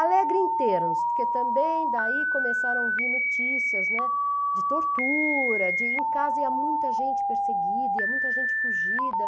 Alegre em termos, porque também daí começaram a vir notícias, né, de tortura, de em casa ia muita gente perseguida, ia muita gente fugida.